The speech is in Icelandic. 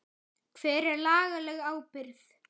Hver er lagaleg ábyrgð?